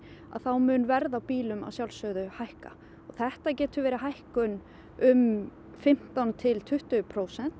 mun verð á bílum að sjálfsögðu hækka þetta getur verið hækkun um fimmtán til tuttugu prósent